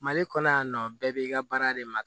Mali kɔnɔ yan nɔ bɛɛ b'i ka baara de ma